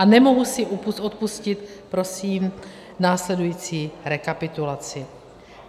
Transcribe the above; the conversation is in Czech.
A nemohu si odpustit prosím následující rekapitulaci.